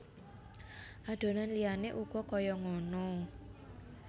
Adonan liyane uga kaya ngono